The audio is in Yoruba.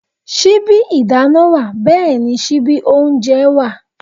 Síbí ìdáná wà bẹ́ẹ̀ni síbí oúnjẹ wà